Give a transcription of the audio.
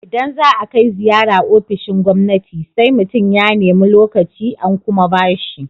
Idan za a kai ziyara ofishin gwamnati, sai mutum ya nemi lokaci, an kuma ba shi.